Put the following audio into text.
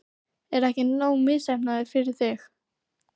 Er ég ekki nógu misheppnaður fyrir þig?